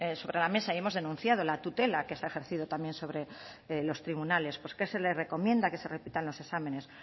sobre la mesa y hemos denunciado la tutela que se ha ejercido también sobre los tribunales pues que se le recomienda que se repitan los exámenes